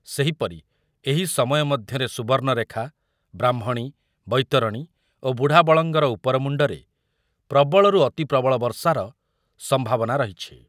ସେହିପରି ଏହି ସମୟ ମଧ୍ୟରେ ସୁବର୍ଣ୍ଣରେଖା, ବ୍ରାହ୍ମଣୀ, ବୈତରଣୀ ଓ ବୁଢ଼ାବଳଙ୍ଗର ଉପରମୁଣ୍ଡରେ ପ୍ରବଳରୁ ଅତି ପ୍ରବଳ ବର୍ଷାର ସମ୍ଭାବନା ରହିଛି ।